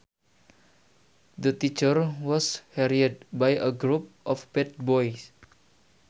The teacher was harried by a group of bad boys